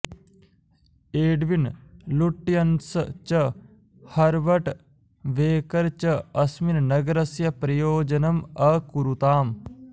Edwin Lutyens च् Herbert Baker च अस्मिन् नगरस्य प्रयोजनम् अकुरुताम्